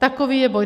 Takový je boj.